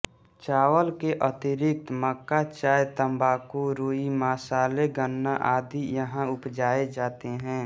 चावल के अतिरिक्त मक्का चाय तंबाकू रुई मसाले गन्ना आदि यहाँ उपजाए जाते हैं